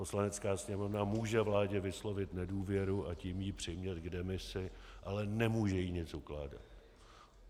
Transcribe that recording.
Poslanecká sněmovna může vládě vyslovit nedůvěru, a tím ji přimět k demisi, ale nemůže jí nic ukládat.